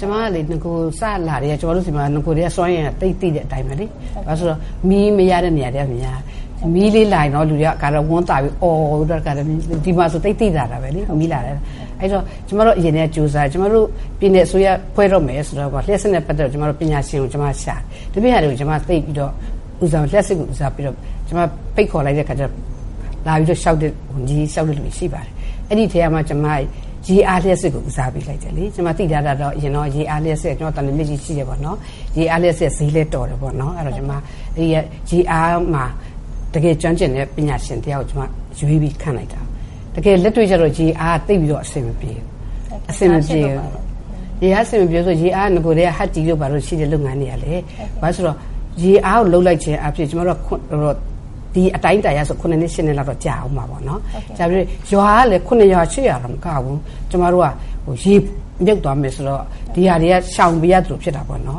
ကျမကလေ နဂို စလာကတည်းက ကျမတို့ဆီမှာ စွမ်းအင်က သိတဲ့အတိုင်းပဲလေ မီးမရတဲ့နေရာတွေကများတယ်။ မီးလေးလာရင် လူတွေက တခါတည်းဝမ်းသာပြီးအော်တယ်၊ ဒီမှာဆို သိပ်သိသာတာပဲ မီးလာတယ်ဆိုပြီးအော်တယ်။ အဲဒီတော့ ကျမတို့အရင်ကတည်းက ကြိုးစားတယ်။ ကျမတို့ ပြည်နယ်အစိုးရဖွဲ့တော့မယ်ဆိုတဲ့အချိန် လျှပ်စစ်နဲ့ ပတ်သတ်ပြီး ပညာရှင်ကို ကျမတို့ရှာတယ်။ ဒီပြင့်ဟာတွေကို ကျမ သိပ်ပြီးတော့ ဦးစားမပေးဘူး။ လျှပ်စစ် ကိုဦးစားပေးပြီး ဖိတ်ခေါ်လိုက်တဲ့အခါကျတော့ လာပြီးတော့ လျှောက်တဲ့လူတွေ ရှိပါတယ်။ အဲဒီအထဲကမှ ကျမ ရေအားလျှပ်စစ်ကိုဦးစားပေးလိုက်တယ်လေ။ ကျမသိထားတာကတော့ ရေအားလျှပ်စစ် သံလွှင်မြစ်ကြီးရှိတယ်ပေါ့နော် ၊ ရေအားလျှပ်စစ် ဈေးလည်းတော်တယ်ပေါ့နော် ။အဲဒီတော့ ကျမ ရေအားမှာ တကယ်ကျွမ်းကျင်တဲ့ ပညာရှင်တယောက်ကို ကျမ ရွေးပြီးခန့်လိုက်တာ တကယ်လက်တွေ့ကျတော့ ရေအား က သိပ်ပြီးတော့ အဆင်မပြေဘူး။ ဘာဖြစ်လို့ပါလဲ။ ရေအား က အဆင်မပြေဘူးဆိုတာက နဂိုကတည်းက ဟတ်ကြီးတို့ဘာတို့ ရှိတဲ့ လုပ်ငန်းတွေကလည်း ရေအားကို လုပ်လိုက်ခြင်းအားဖြင့် ကျမတို့က ဒီအတိုင်းအတာအရဆိုရင် ၇ နှစ် ၈ နှစ်လောက်က ကြာမယ်။ ရွာကလည်း ၇ ရွာ ၈ ရွာတောင်မကဘူး ကျမတို့က ရေမြုပ်သွားမယ်ဆိုတော့ ဒီဟာတွေက ရှောင်နေရသလိုဖြစ်တာပေါ့နော်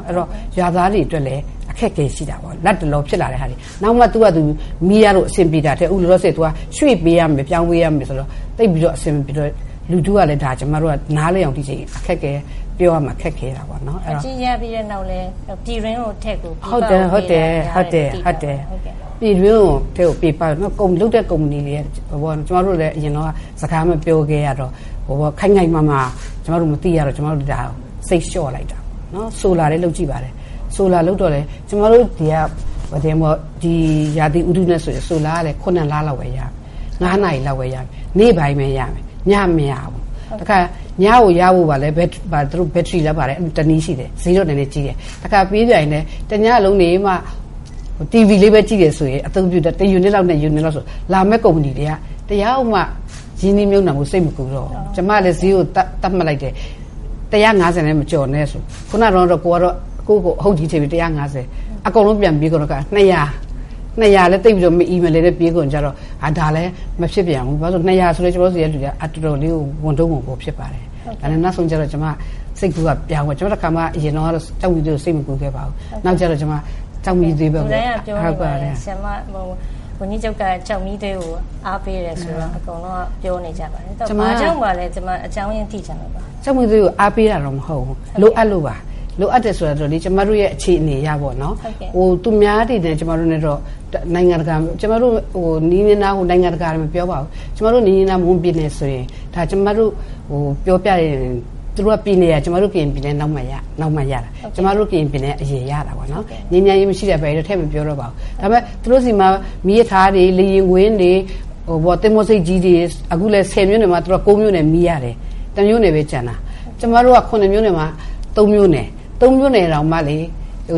ရွာသားတွေ အတွက်လည်း အခက်အခဲရှိတာပေါ့နော်။ လက်တလောဖြစ်လာနိုင်တဲ့ဟာတွေ နောက်တော့မှ သူ့ဟာသူ မီးရလို့အဆင်ပြေတာထက် အခုလောလောဆည် ရွှေ့ပေးရမယ် ပြောင်းပေးရမယ် ဆိုတော့ သိပ်ပြီးတော့ အဆင်မပြေတော့ လူထုကလည်း ဒီဟာကို နားလည်အောင် ဒီအချိန်ပြောရမှာ ခက်ခဲတာပေါ့နော်။ ဟတ်ကြီးရပြီးတဲ့နောက်လည်း ပြည်တွင်းထက်ကို ပြည်ပကိုပေးတာ များတယ်လို့ သိရပါတယ်။ ဟုတ်တယ် နောက်လုပ်တဲ့ ကုမ္ပဏီတွေကလည်း စကားမပြောခဲ့ရတော့ ခိုင်ခိုင်မာမာ ကျမတို့မသိရတော့ ကျမတို့ဒါကို စိတ်လျှော့လိုက်ရတာပေါ့ ။ solar လည်းလုပ်ကြည့်ပါတယ် Solar လုပ်တော့လည်း ကျမတို့ ရာသီဥတုနဲ့ solar လည်း ၇ လ လောက်ပဲရမယ်။ ၅ နာရီလောက်ပဲရမယ်။ နေ့ပိုင်းပဲရမယ်၊ ညလည်းမရဘူး။ တခါ ညကိုရဖို့ကလည်း သူတို့ ဘတ်ထရီလား ဘာလားတနည်းတော့ရှိတယ်။ ဈေးတော့ကြီးတယ်၊ တခါရပြန်ရင်လည်း တညလုံးနေမှ TV လေးပဲကြည့်တယ်ဆိုရင် တယူနစ်၊ ၂ ယူနစ်လောက်နဲ့ဆိုရင် လာမည့် ကုမ္ပဏီတွေက တယောက်မှ ရင်းနှီးမြှပ်နှံဖို့ စိတ်မကူးတော့ဘူး။ ကျမလည်း ဈေးကို သတ်မှတ်လိုက်တယ်၊ ၁၅၀နဲ့ မကျော်နဲ့ဆိုပြီးတော့ ခုနတုန်းကတော့ ကိုယ်က အဟုတ်ကြီးထင်ပြီးတော့ ၁၅၀၊ အခုအကုန်လုံးပြန်ပြောင်းပြီးတော့ ၂၀၀ ။ ၂၀၀ ကလည်း သိပ်ပြီးတော့ မအီမလည်နဲ့ပြေးကုန်တော့ ဒါလည်းမဖြစ်ပြန်ဘူး။ ဘာဖြစ်လို့လဲဆိုတော့ ၂၀၀ ဆိုလည်း သူက တော်တော်လေးကို ဝန်ထုတ်ဝန်ပိုးဖြစ်ပါတယ်။ ဒါနဲ့ကျမတို့က နောက်ဆုံး စိတ်ကူးပြောင်းသွားတယ် အရင်တုန်းကတော့ ကျောက်မီးသွေးကို စိတ်မကူးခဲ့ပါဘူး။ နောက်ကျတော့ ကျမ ကျောက်မီးသွေးကို ဘက်ကိုပြောင်းသွားပါတယ်။ ဝန်ကြီးချုပ်က ကျောက်မီးသွေးကိုအားပေး တယ်ဆိုပြီးတော့ အကုန်လုံးက ပြောနေကြပါတယ်။ ဘာကြောင့်ပါလဲ အကြောင်းအရင်းသိချင်ပါတယ်။ ကျောက်မီးသွေးကိုအားပေးတာတော့ မဟုတ်ပါဘူး လိုအပ်လို့ပါ။ လိုအပ်တယ် ဆိုတာကတော့ ကျမတို့ အခြေအနေအရပေါ့နော် ။ သူများတွေနဲ့ ကျမတို့နဲ့ကတော့၊နီးနီးနားနား မွန်ပြည်နယ်မှာဆိုရင် ကျမတို့ပြောရင် သူတို့ပြည်နယ်က ကျမတို့ ကရင်ပြည်နယ်နောက်မှ ရတာ ၊ ကျမတို့ ကရင်ပြည်နယ်က အရင်ရတာပေါ့နော်၊ ငြိမ်းချမ်းရေးကတော့ ထည့်မပြောတော့ပါဘူး။ ဒါပေမယ့် သူတို့ဆီမှာ မီးရထားတွေ လေယာဉ်ကွင်းတွေ ၊ သင်္ဘောဆိပ်တွေ အခုလည်း ၁၀ မြို့နယ်မှာဆိုရင် ၉ မြို့နယ်ကတော့ မီးရတယ်၊ ၁ မြို့နယ်ပဲကျန်တာ။ ကျမတု့ိက ၇ မြို့နယ်မှာ ၃ မြို့နယ် ၊ အဲဒီ ၃ မြို့နယ်မှာတောင်မှ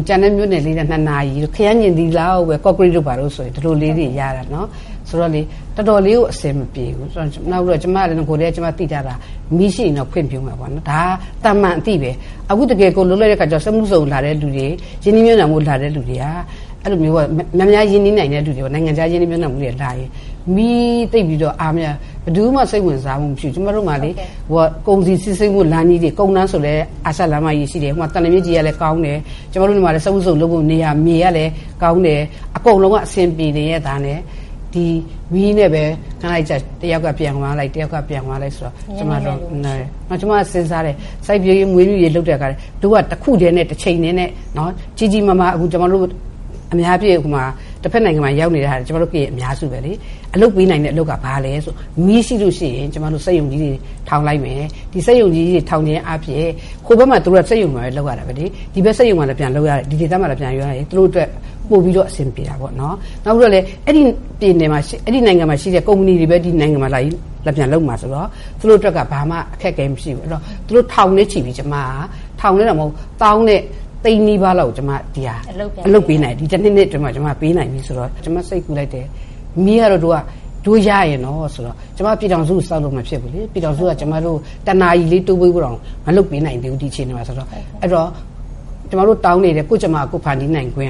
ကျန်တဲ့ မြို့နယ်ငယ်လေးတွေက ၂ နာရီတို့ နည်းနည်းပဲ ၊ ကော့ကရိတ်တို့ဘာတို့ဆိုရင် အဲဒီလောက်ပဲရတာ။ ဆိုတော့ တော်တော်လေးကိုအဆင်မပြေဘူး နောက်ပြီးတော့ ကျမလည်း နဂိုကတည်းက သိထားတာ နည်းရှိရင်တော့ ခွင့်ပြုမယ်ပေါ့နော် ၊ ဒါကသာမန်အသိပဲ။ အခု တကယ် ကိုယ်လုပ်လိုက်တဲ့အခါကျတော့ စက်မှုဇုံလုပ်ဖို့လူတွေ၊ ရင်းနှီးမြှပ်နှံဖို့ လာတဲ့လူတွေက အဲလိုမျိုး နိုင်ငံခြား ရင်းနှီးမြှပ်နှံဖို့ လာတဲ့လူတွေလာရင် မီးအားမရ တော့ ဘယ်သူမှ စိတ်ဝင်စားမှုမရှိဘူး။ ကျမတို့မှာ ကုန်စည်စီးဆင်းမှုလမ်းတွေ ၊ ကုန်းလမ်းဆိုရင်လည်း အာရှလမ်းမကြီးရှိတယ်၊ သံလွှင်မြစ်ကြီးလည်းရှိတယ်။ ကျမတို့ဆီမှာလည်း စက်မှုဇုံလုပ်ဖို့နေရာ မြေကလည်းကောင်းတယ်။ အကုန်လုံးက အဆင်ပြေနေရဲ့သားနဲ့ ဒီမီးနဲ့ပဲ ခဏနေကျတော့ တယောက်က ပြန်သွား လိုက်ဖြစ်နေတယ်။ ကျမကစဉ်းစားတယ်၊ စိုက်ပျိုးရေးမွေးမြူရေး လုပ်တဲ့အခါကျရင် သူတို့က တခုတည်းနဲ့ တချိန်တည်းနဲ့ ကြီးကြီးမားမား အများအားဖြင့် တဖက်နိုင်ငံကိုရောက်နေတာ ကျမတို့ ကရင်တွေ အများစုပဲလေ၊ အလုပ်ပေးနိုင်တဲ့အလုပ်က ဘာလဲဆိုတော့ မီးရှိလို့ရှိရင် ကျမတို့ စက်ရုံတွေထောင်မယ်။ဒီစက်ရုံတွေ ထောင်တာအားဖြင့် ဟိုဘက်မှာလည်း သူတို့တွေ စက်ရုံတွေမှာပဲလုပ်ရတယ်လေ၊ ဒီဘက်မှာလည်း စက်ရုံတွေမှာ ပြန်လုပ်ရရင် ဒီဒေသမှာလည်း ပြန်လုပ်ရရင် သူတို့အတွက် ပိုပြီးတော့ အဆင်ပြေတာပေါ့နော်။ နောက်ပြီးတော့လည်း အဲဒီနိုင်ငံမှာရှိတဲ့ ကုမ္ပဏီမှာပဲ လာပြီးပြန်လုပ်မှာဆိုတော့ သူတို့အတွက်က ဘာမှ အခက်အခဲမရှိဘူး အဲဒီတော့ သူတို့ ထောင်၊ သောင်း နဲ့ သိန်းနဲ့ ချီပြီး ကျမ ဒီတနှစ်၊ ၂ နှစ်အတွင်းမှာ အလုပ်ပေးနိုင်ပြီဆိုတော့ ကျမစိတ်ကူးလိုက်တယ် မီးကတော့ ကျမ ပြည်ထောင်စုအစိုးရကိုတော့ စောင့်လို့မဖြစ်ဘူးလေ။ ပြည်ထောင်စုက ကျမတို့ကို ၁ နာရီလေးတိုးပေးဖို့ လုပ်ဖို့ကို မလုပ်နိုင်သေးတဲ့အခြေအနေမှာဆိုတော့ အဲဒီတော့ ကျမတို့တောင်းနေတဲ့ ကိုယ်ကြမ္မာကိုယ်ဖန်တီးနိုင်ခွင့်